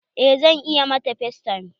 Eh zan iya ma factime.